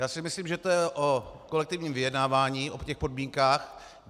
Já si myslím, že to je o kolektivním vyjednávání o těch podmínkách.